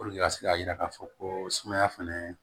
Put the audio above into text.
ka se ka yira k'a fɔ ko sumaya fɛnɛ